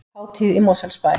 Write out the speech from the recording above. Hátíð í Mosfellsbæ